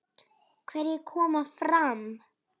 Hverjir koma fram?